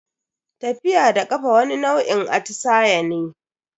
Tafiya da kafa wani nau'in atisaye ne.